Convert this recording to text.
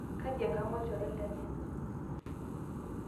kaji enkang olchore lenye